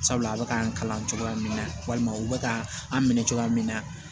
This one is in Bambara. Sabula a bɛ k'an kalan cogoya min na walima u bɛ ka an minɛ cogoya min na